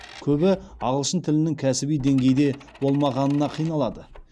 көбі ағылшын тілінің кәсіби деңгейде болмағанына қиналады